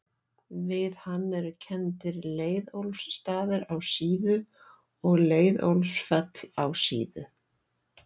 Við hann eru kenndir Leiðólfsstaðir á Síðu og Leiðólfsfell á Síðu.